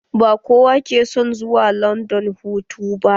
Ba kowa ke son zuwa landan hutu ba